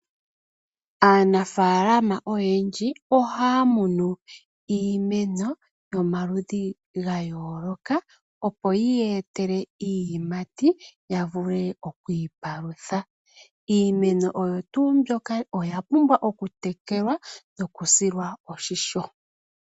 Aanafaalama oyendji ohaya kunu iimeno yomaludhi yayooloka opo yi yeetele iiyimati ya vule okwiipalutha. Iimeno oyapumbwa okutekelwa nokusilwa oshimpwiyu.